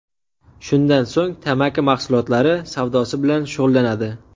Shundan so‘ng tamaki mahsulotlari savdosi bilan shug‘ullanadi.